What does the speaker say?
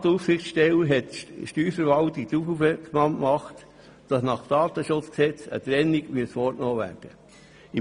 Die Datenschutzaufsichtsstelle hat die Steuerverwaltung darauf aufmerksam gemacht, dass nach Datenschutzgesetz eine Trennung vorgenommen werden muss.